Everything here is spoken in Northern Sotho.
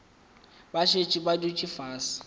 ba šetše ba dutše fase